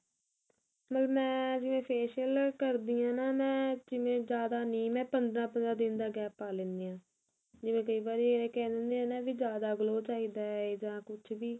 ਮਤਲਬ ਮੈਂ ਜਿਵੇਂ facial ਕਰਦੀ ਆ ਨਾ ਜਿਵੇਂ ਜਿਆਦਾ ਨੀ ਮੈਂ ਪੰਦਰਾਂ ਪੰਦਰਾਂ ਦਿਨ ਦਾ gap ਪਾ ਲੈਨੀ ਆ ਜਿਵੇਂ ਕਈ ਵਾਰੀ ਇਹ ਕਹਿ ਲੈਣੇ ਆ ਵੀ ਜਿਆਦਾ glow ਚਾਹੀਦਾ ਇਹਦਾ ਕੁੱਝ ਵੀ